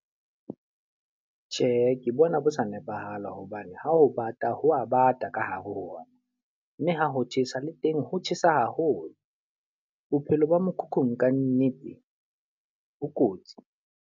Tjhe, ke bona bo sa nepahala. Hobane ha ho bata ho a bata ka hare ho ona. Mme ha ho tjhesa le teng ho tjhesa haholo. Bophelo ba mokhukhung ka nnete bo kotsi.